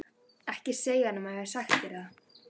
Ekki segja honum að ég hafi sagt þér það.